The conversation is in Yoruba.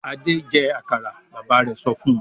"Adé jẹ àkàrà!" Bàbá rẹ̀ sọ fún un.